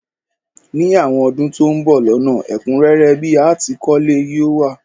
Ní àwon odún to n bo lónà, ẹ̀kúnrẹ́rẹ́ bi a tìí kólé yi o wa